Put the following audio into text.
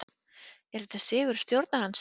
Er þetta sigur stjórnarandstöðunnar?